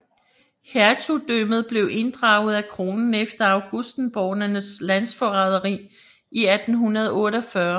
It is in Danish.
Hertugdømmet blev inddraget af kronen efter augustenborgernes landsforræderi i 1848